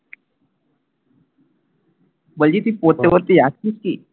বলছি তুই পড়তে পড়তেই আসছিস কি?